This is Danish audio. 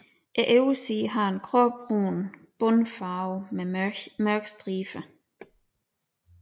Oversiden har en gråbrun bundfarve med mørke striber